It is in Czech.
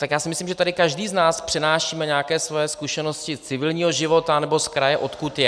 Tak já si myslím, že tady každý z nás přenášíme nějaké svoje zkušenosti z civilního života, nebo z kraje, odkud je.